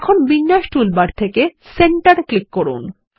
এখন বিন্যাস টুলবার থেকে সেন্টার ক্লিক করুন